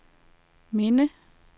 minde